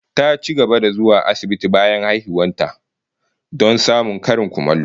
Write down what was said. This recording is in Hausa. Ta ci gaba da zuwa asibitin bayan haihuwar ta, don samun karin kulawa